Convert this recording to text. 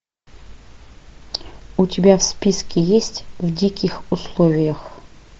у тебя в списке есть в диких условиях